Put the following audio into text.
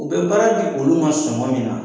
U bɛ baara di olu ma sɔngɔ min na